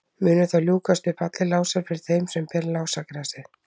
munu þá ljúkast upp allir lásar fyrir þeim sem ber lásagrasið